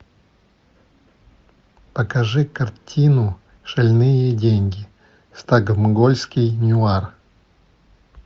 покажи картину шальные деньги стокгольмский нуар